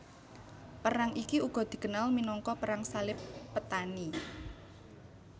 Perang iki uga dikenal minangka Perang Salib Petani